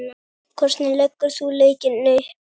Hvernig leggur þú leikinn upp?